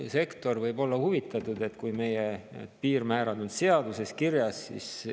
Jah, sektor võib olla huvitatud, et teatud piirmäärad on seaduses kirjas.